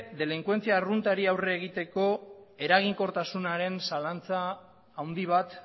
delinkuentzia arruntari aurre egiteko eraginkortasunaren zalantza handi bat